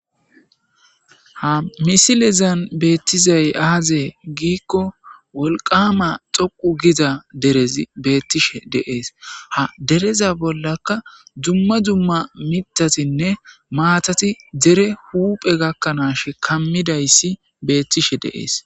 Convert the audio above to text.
ha misilezan beettizay aazee giikko wolqama xoqu giza derez beettishe de'es ha dereza bollaka dumma dumma mitatinne maatati dere huphe gakkanaash kammidayssi beettishe deees